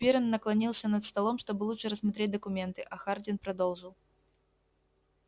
пиренн наклонился над столом чтобы лучше рассмотреть документы а хардин продолжил